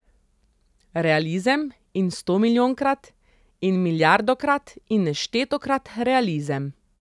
Realizem in stomilijonkrat in milijardokrat in neštetokrat realizem!